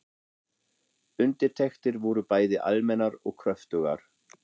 Undirtektir voru bæði almennar og kröftugar.